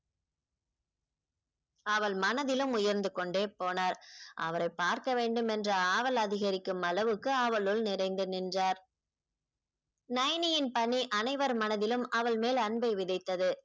அவள் மனதிலும் உயர்ந்து கொண்டே போனார் அவரைப் பார்க்க வேண்டும் என்ற ஆவல் அதிகரிக்கும் அளவுக்கு அவளுள் நிறைந்து நின்றார் நயனியின் பணி அனைவர் மனதிலும் அவள் மேல் அன்பை விதைத்தது